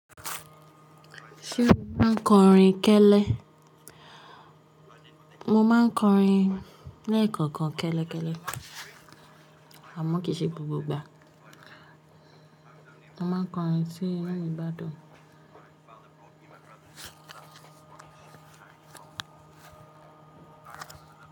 Ṣé o máa ń kọrin kẹ́lẹ́? Mo máa ń kọrin ní ẹ̀kọ̀kan kẹ́lẹ́ kẹ́lẹ́, àmọ́ kì í ṣe gbogbo ìgbà. Mo máa ń kọrin sí inú igbadó.